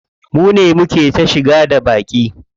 Mune muke ta shigo da baƙi.